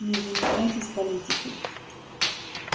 не занимаетесь политикой